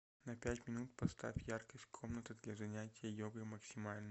на пять минут поставь яркость комната для занятия йогой максимальную